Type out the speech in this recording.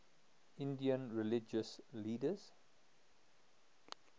indian religious leaders